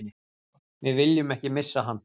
Við viljum ekki missa hann